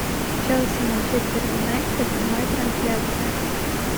челси манчестер юнайтед прямая трансляция